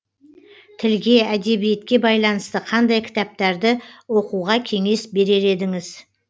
тілге әдебиетке байланысты қандай кітаптарды оқуға кеңес берер едіңіз